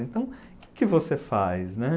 Então, o que que você faz, né?